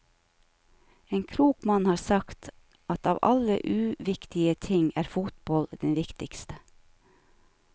En klok mann har sagt at av alle uviktige ting er fotball den viktigste.